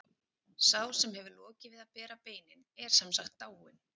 Sá sem hefur lokið við að bera beinin er sem sagt dáinn.